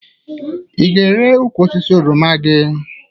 Ị ga-ere ukwu osisi oroma gị?